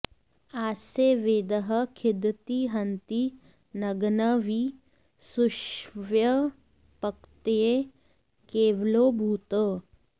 आस्य॒ वेदः॑ खि॒दति॒ हन्ति॑ न॒ग्नं वि सुष्व॑ये प॒क्तये॒ केव॑लो भूत्